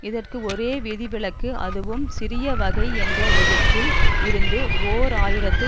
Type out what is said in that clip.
இதற்கு ஒரே விதிவிலக்கு அதுவும் சிறிய வகை என்ற விதத்தில் இருந்து ஓர் ஆயிரத்து